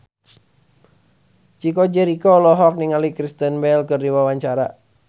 Chico Jericho olohok ningali Kristen Bell keur diwawancara